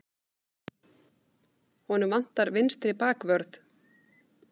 Honum vantar vinstri bakvörð.